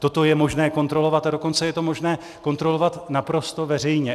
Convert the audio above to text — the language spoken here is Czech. Toto je možné kontrolovat, a dokonce je to možné kontrolovat naprosto veřejně.